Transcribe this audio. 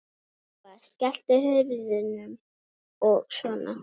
Eva: Skelltu hurðum og svona?